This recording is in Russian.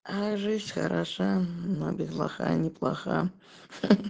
а жизнь хороша но без лоха неплоха